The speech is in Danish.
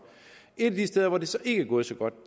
et af de steder hvor det så ikke er gået så godt